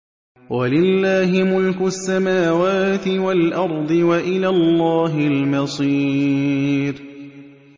وَلِلَّهِ مُلْكُ السَّمَاوَاتِ وَالْأَرْضِ ۖ وَإِلَى اللَّهِ الْمَصِيرُ